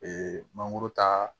mangoro ta